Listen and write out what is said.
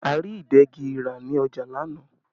A rí ìdegi ra ní ọjà lánàá